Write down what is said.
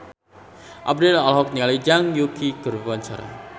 Abdel olohok ningali Zhang Yuqi keur diwawancara